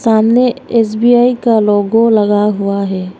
सामने एस_बी_आई का लोगो लगा हुआ है।